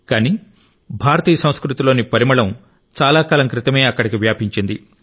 కానీ భారతీయ సంస్కృతిలోని పరిమళం చాలా కాలం క్రితమే అక్కడికి వ్యాపించింది